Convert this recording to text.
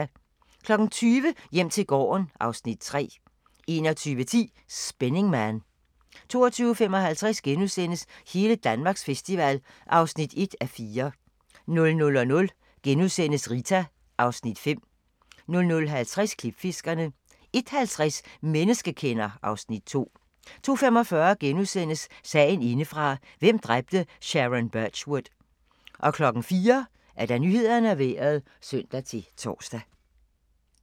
20:00: Hjem til gården (Afs. 3) 21:10: Spinning Man 22:55: Hele Danmarks festival (1:4)* 00:00: Rita (Afs. 5)* 00:50: Klipfiskerne 01:50: Menneskekender (Afs. 2) 02:45: Sagen indefra - hvem dræbte Sharon Birchwood? * 04:00: Nyhederne og Vejret (søn-tor)